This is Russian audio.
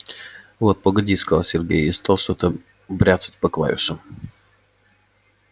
вот погоди сказал сергей и стал что-то бряцать по клавишам